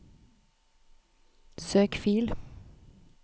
søk fil